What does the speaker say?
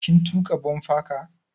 Kin tuƙa bumper car?